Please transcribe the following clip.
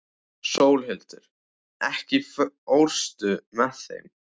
Sólhildur, ekki fórstu með þeim?